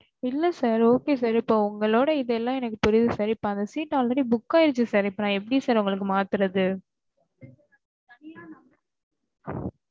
இல்ல sIr okay sIr இப்ப ஒங்களோட இது எல்லாம் எனக்கு புரியுது sir இப்ப அந்த seat already book ஆயிடுச்சு sir இப்ப நான் எப்டி sir ஒங்களுக்கு மாத்துறது